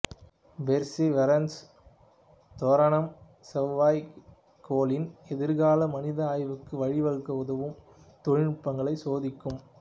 Perseverance தோரணம் செவ்வாய் கோளின் எதிர்கால மனித ஆய்வுக்கு வழி வகுக்க உதவும் தொழில்நுட்பங்களையும் சோதிக்கும்